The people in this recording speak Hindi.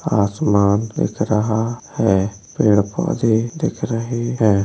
आसमान दिख रहा है। पेड़ पौधे दिख रहे हैं।